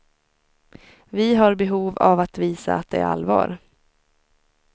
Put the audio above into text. Vi har behov av att visa att det är allvar.